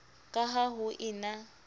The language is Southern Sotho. ka ha ho e na